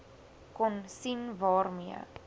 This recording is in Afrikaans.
kon sien waarmee